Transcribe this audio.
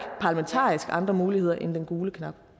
andre muligheder end den gule knap